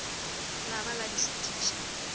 la ba la di šutiša